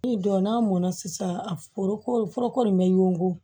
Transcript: Ni dɔn n'a mɔn na sisan a foroko foroko in bɛ yongu